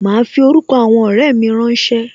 Ma fi orúkọ àwọn ọrẹ mi rán ṣé